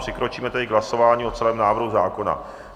Přikročíme tedy k hlasování o celém návrhu zákona.